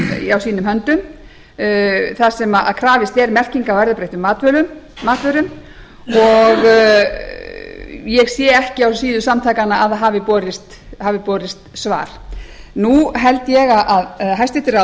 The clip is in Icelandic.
mál á sínum höndum þar sem krafist er merkinga á erfðabreyttum matvörum og ég sé ekki á síðu samtakanna að það hafi borist svar nú held ég að hæstvirtir